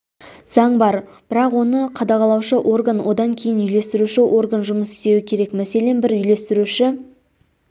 заң бар бірақ оны қадағалаушы орган одан кейін үйлестіруші орган жұмыс істеуі керек мәселен бір үйлестіруші